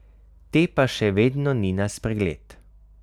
Te pa še vedno ni na spregled.